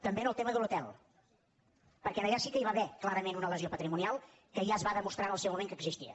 també en el tema de l’hotel perquè allà sí que hi va haver clarament una lesió patrimonial que ja es va demostrar en el seu moment que existia